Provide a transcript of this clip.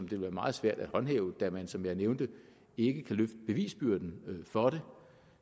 ville være meget svært at håndhæve da man som jeg nævnte ikke kan løfte bevisbyrden for det